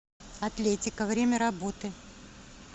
атлетика время работы